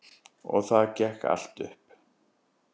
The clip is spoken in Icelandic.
Og það gekk allt upp.